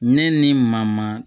Ne ni mama